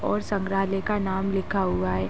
और संग्रहालय का नाम लिखा हुआ है।